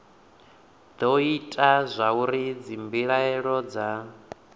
do ita zwauri dzimbilaelo dza